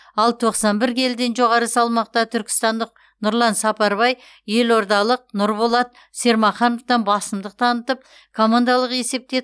ал тоқсан бір келіден жоғары салмақта түркістандық нұрлан сапарбай елордалық нұрболат сермахановтан басымдық танытып командалық есепте